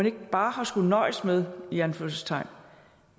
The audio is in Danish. ikke bare skullet nøjes med i anførselstegn